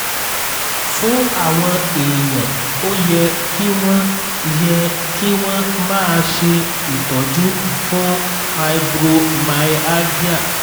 fún àwọn èèyàn ó yẹ kí wọ́n yẹ kí wọ́n máa ṣe ìtọ́jú fún fibromyalgia